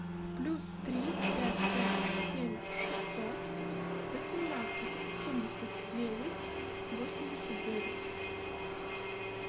плюс три пять пять семь шестьсот восемнадцать семьдесят девять восемьдесят девять